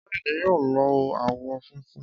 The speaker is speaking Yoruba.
Káyọ̀dé yóò lo àwọ̀ funfun.